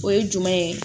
O ye jumɛn ye